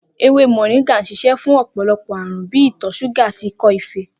Ewé mò̩ríngà ń s̩ís̩é̩ fún ò̩pò̩lo̩pò̩ àrùn bí i ìtò̩ s̩úgà àti ikó̩ efee